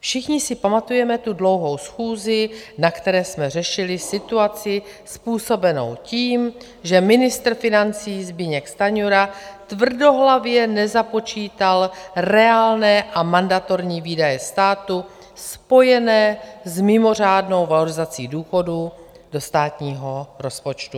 Všichni si pamatujeme tu dlouhou schůzi, na které jsme řešili situaci způsobenou tím, že ministr financí Zbyněk Stanjura tvrdohlavě nezapočítal reálné a mandatorní výdaje státu spojené s mimořádnou valorizací důchodů do státního rozpočtu.